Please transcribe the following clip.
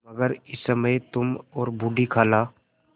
मगर इस समय तुम और बूढ़ी खाला